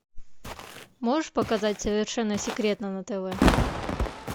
можешь показать совершенно секретно на тв